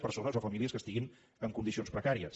persones o famílies que estiguin en condicions precàries